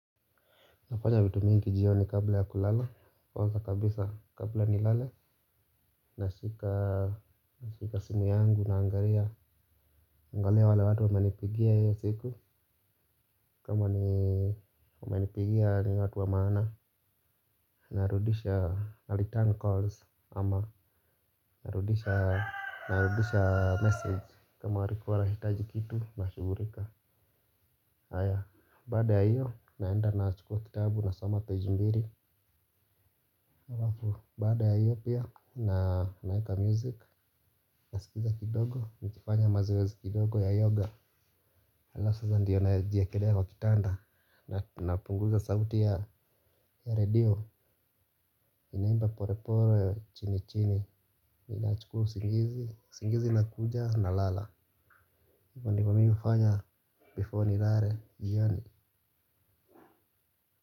Nafanya vitu mingi jioni kabla ya kulala, kwanza kabisa kabla nilale, nashika simu yangu naangalia. Angalia wale watu wamanipigia hiyo siku, kama ni wamenipigia ni watu wa maana, narudisha, na return calls, ama narudisha message, kama walikuwa wanahitaji kitu, na shughulika. Aya, baada ya hiyo naenda na chukua kitabu na soma peji mbli. Baada ya hiyo pia na naeka music. Naskiza kidogo, nikifanya mazoezi kidogo ya yoga. Alafu sasa ndiyo na jiekelea kitanda. Na napunguza sauti ya redio. Inaimba polepole chini chini ninachukua usingizi, usingizi inakuja nalala hivyo ndivyo mimi hufanya before nilale jioni.